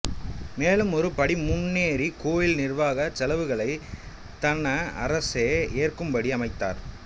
மேலும் ஒரு படி முன்னேறி கோவில் நிர்வாகச் செலவுகளைத் தன அரசே ஏற்கும்படி அமைத்தார்